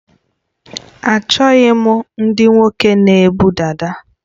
Achọghị m ndị nwoke na ebu dada